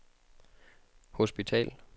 hospital